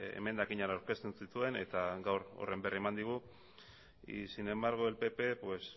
emendakinak aurkezten zituen eta gaur horren berri eman digu y sin embargo el pp nos